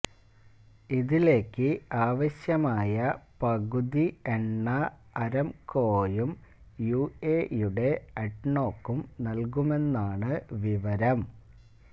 ഇതിലേക്ക് ആവശ്യമായ പകുതി എണ്ണ അരാംകോയും യുഎഇയുടെ അഡ്നോക്കും നല്കുമെന്നാണ് വിവരം